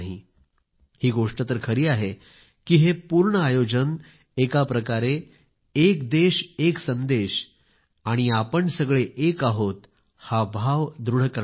ही गोष्ट तर खरी आहे की हे पूर्ण आयोजन एकाप्रकारे एक देश एक संदेश आणि आपण सगळे एक आहोत हा भाव दृढ करणारे आहे